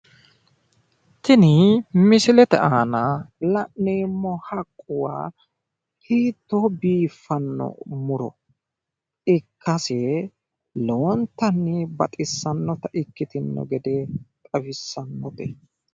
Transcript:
tini misilete aana la'neemmo haqquwa hiitto biiffano muro ikkase lowontanni baxissannota ikkitino gede xawissannote